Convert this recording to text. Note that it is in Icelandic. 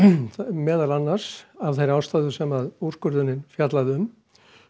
meðal annars af þeirri ástæðu sem úrskurðurinn fjallar um